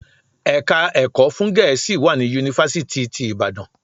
Ẹ̀ka ẹ̀kọ́ fún Gẹ̀ẹ́sì wà ní Yunifásítì ti Ìbàdàn.